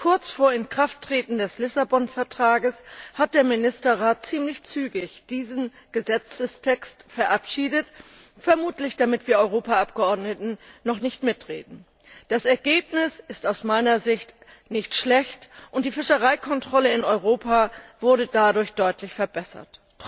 Kurz vor Inkrafttreten des Vertrags von Lissabon hat der Ministerrat ziemlich zügig diesen Gesetzestext verabschiedet, vermutlich damit wir Europaabgeordneten noch nicht mitreden. Das Ergebnis ist aus meiner Sicht nicht schlecht und die Fischereikontrolle in Europa wurde dadurch deutlich verbessert.